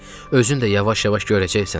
Özün də yavaş-yavaş görəcəksən.